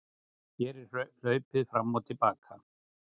Hér er hlaupið fram og til baka.